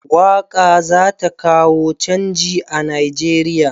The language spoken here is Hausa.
Waƙa za ta kawo canji a Nigeriya.